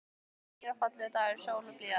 Þetta var hlýr og fallegur dagur, sól og blíða.